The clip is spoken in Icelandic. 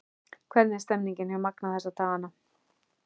Hvernig er stemningin hjá Magna þessa dagana?